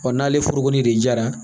n'ale foro in de jara